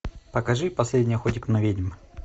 покажи последний охотник на ведьм